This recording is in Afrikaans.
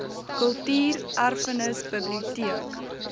kultuur erfenis biblioteek